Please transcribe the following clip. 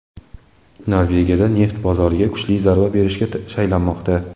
Norvegiya neft bozoriga kuchli zarba berishga shaylanmoqda.